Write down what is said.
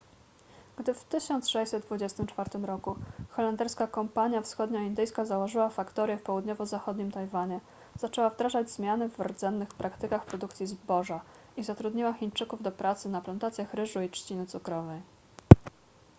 gdy w 1624 roku holenderska kompania wschodnioindyjska założyła faktorię w południowo-zachodnim tajwanie zaczęła wdrażać zmiany w rdzennych praktykach produkcji zboża i zatrudniła chińczyków do pracy na plantacjach ryżu i trzciny cukrowej